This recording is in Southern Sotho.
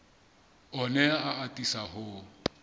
o ne a atisa ho